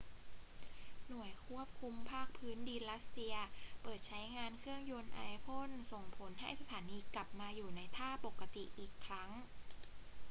หน่วยควบคุมภาคพื้นดินรัสเซียเปิดใช้งานเครื่องยนต์ไอพ่นส่งผลให้สถานีกลับมาอยู่ในท่าปกติอีกครั้ง